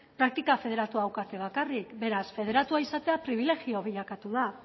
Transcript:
praktika federatua daukate bakarrik beraz federatua izatea pribilegioa bilakatu da